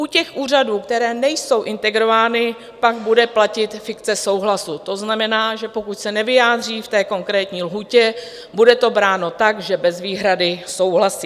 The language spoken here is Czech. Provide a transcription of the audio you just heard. U těch úřadů, které nejsou integrovány, pak bude platit fikce souhlasu, to znamená, že pokud se nevyjádří v té konkrétní lhůtě, bude to bráno tak, že bez výhrady souhlasí.